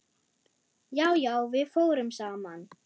Já, já, við fórum saman.